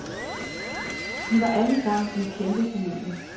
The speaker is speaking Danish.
De var alle samen en kæmpe familie.